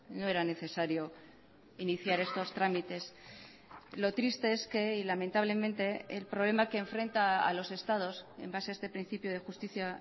no era necesario iniciar estos trámites lo triste es que y lamentablemente el problema que enfrenta a los estados en base a este principio de justicia